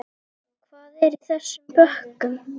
Hvað er í þessum bökkum?